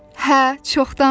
Hə, çoxdandır.